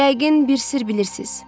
Yəqin bir sirr bilirsiz.